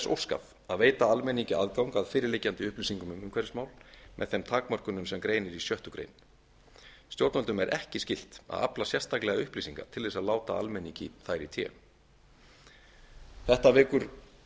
óskað að veita almenningi aðgang að fyrirliggjandi upplýsingum um umhverfismál með þeim takmörkunum sem greinir í sex greinar stjórnvöldum er ekki skylt að afla sérstaklega upplýsinga til þess að láta almenningi þær í té þetta vekur